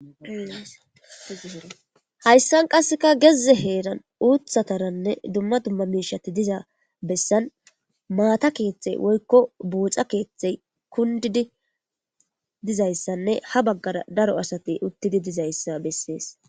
hayssan qasseka gezze heeran uuththataranne dumma dumma miishati dizaa bessan maata keeththey woykko buuxa keeththey kundidi dizayssanne ha baggara daro asati uttidi dizayssa bessees